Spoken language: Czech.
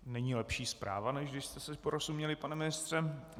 Není lepší zpráva, než když jste si porozuměli, pane ministře.